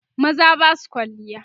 maza Basu kwalliya